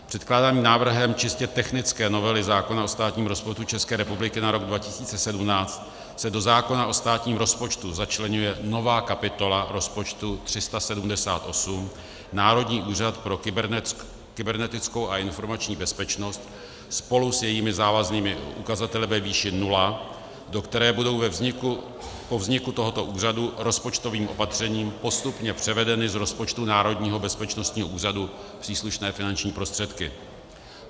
Předkládaným návrhem čistě technické novely zákona o státním rozpočtu České republiky na rok 2017 se do zákona o státním rozpočtu začleňuje nová kapitola rozpočtu 378 Národní úřad pro kybernetickou a informační bezpečnost spolu s jejími závaznými ukazateli ve výši nula, do které budou po vzniku tohoto úřadu rozpočtovým opatřením postupně převedeny z rozpočtu Národního bezpečnostního úřadu příslušné finanční prostředky.